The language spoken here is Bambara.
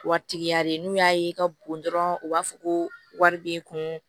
Waritigiya de n'u y'a ye i ka bon dɔrɔn u b'a fɔ ko wari b'i kun